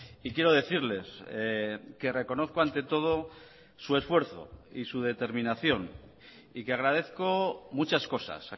y quiero decirles que reconozco ante todo su esfuerzo y su determinación y que agradezco muchas cosas